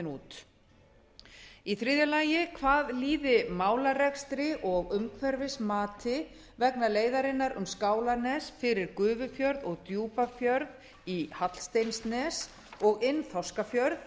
út þriðja hvað líður málarekstri og umhverfismati vegna leiðarinnar um skálanes fyrir gufufjörð og djúpafjörð í hallsteinsnes og inn þorskafjörð